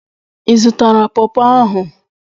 Ị zụtara pawpaw ahụ?